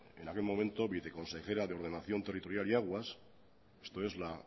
en aquel momento viceconsejera de ordenación territorial y aguas esto es la